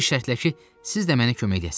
Bir şərtlə ki, siz də mənə kömək eləyəsiz.